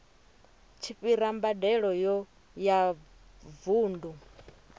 tshi fhira mbadelo ya vundu